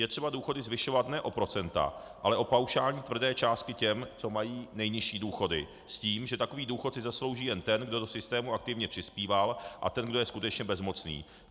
Je třeba důchody zvyšovat ne o procenta, ale o paušální tvrdé částky těm, co mají nejnižší důchody, s tím, že takový důchod si zaslouží jen ten, kdo do systému aktivně přispíval, a ten, kdo je skutečně bezmocný.